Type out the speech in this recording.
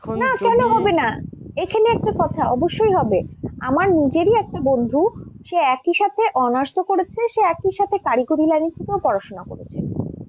কেন হবে না? এখানে একটা কথা অবশ্যই হবে। আমার নিজেরই একটা বন্ধু সে একি সাথে honours ও করেছে সে একি সাথে কারিগরী line এ থেকেও পড়াশোনা করেছে।